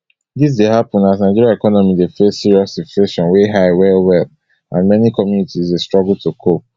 dis dey happun as nigeria economy dey face serious inflation wey high wellwell and many communities dey struggle to cope